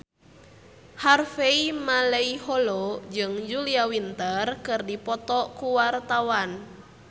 Harvey Malaiholo jeung Julia Winter keur dipoto ku wartawan